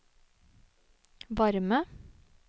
varme